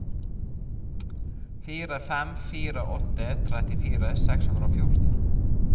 fire fem fire åtte trettifire seks hundre og fjorten